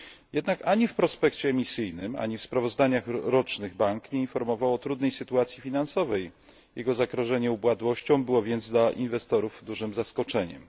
Jednak ani w prospekcie emisyjnym, ani w sprawozdaniach rocznych bank nie informował o trudnej sytuacji finansowej. Jego zagrożenie upadłością było więc dla inwestorów dużym zaskoczeniem.